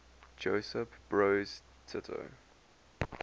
josip broz tito